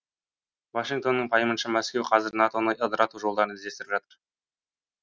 вашингтонның пайымынша мәскеу қазір нато ны ыдырату жолдарын іздестіріп жатыр